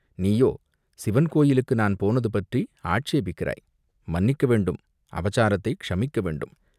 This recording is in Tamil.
நீயோ சிவன் கோயிலுக்கு நான் போனது பற்றி ஆட்சேபிக்கிறாய், மன்னிக்க வேண்டும், அபசாரத்தை க்ஷமிக்க வேண்டும்